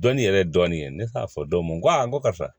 Dɔnni yɛrɛ ye dɔnni ye ne t'a fɔ dɔ ma n ko ayi n ko karisa